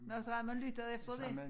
Nå så havde man lyttet efter det